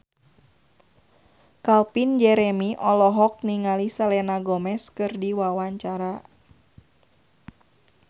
Calvin Jeremy olohok ningali Selena Gomez keur diwawancara